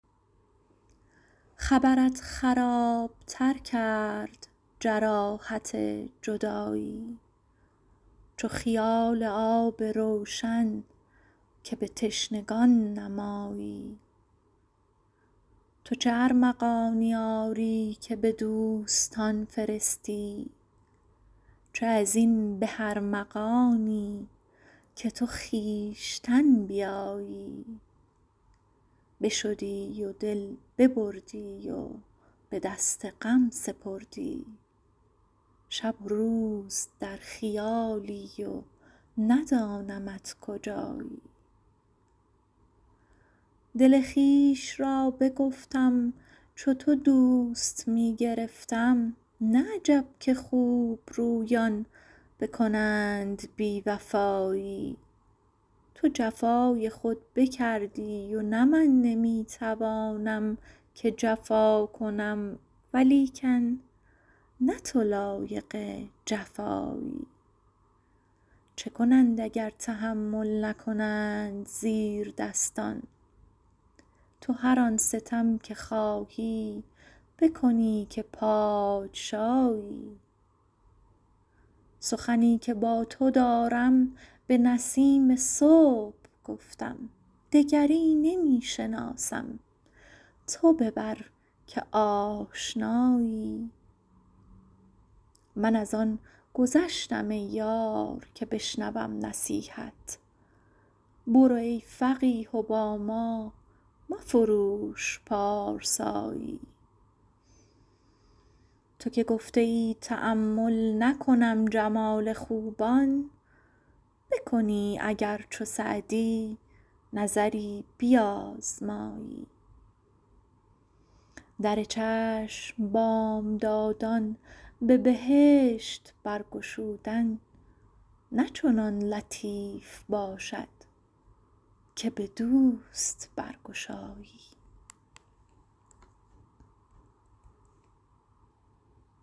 خبرت خراب تر کرد جراحت جدایی چو خیال آب روشن که به تشنگان نمایی تو چه ارمغانی آری که به دوستان فرستی چه از این به ارمغانی که تو خویشتن بیایی بشدی و دل ببردی و به دست غم سپردی شب و روز در خیالی و ندانمت کجایی دل خویش را بگفتم چو تو دوست می گرفتم نه عجب که خوبرویان بکنند بی وفایی تو جفای خود بکردی و نه من نمی توانم که جفا کنم ولیکن نه تو لایق جفایی چه کنند اگر تحمل نکنند زیردستان تو هر آن ستم که خواهی بکنی که پادشایی سخنی که با تو دارم به نسیم صبح گفتم دگری نمی شناسم تو ببر که آشنایی من از آن گذشتم ای یار که بشنوم نصیحت برو ای فقیه و با ما مفروش پارسایی تو که گفته ای تأمل نکنم جمال خوبان بکنی اگر چو سعدی نظری بیازمایی در چشم بامدادان به بهشت برگشودن نه چنان لطیف باشد که به دوست برگشایی